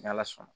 Ni ala sɔnna